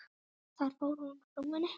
Þar fór frúin.